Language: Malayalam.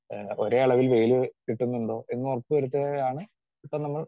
സ്പീക്കർ 2 ആഹ് ഒരേ അളവിൽ വെയില് കിട്ടുന്നുണ്ടോ എന്നുറപ്പുവരുത്തുകയാണ് ഇപ്പം നമ്മൾ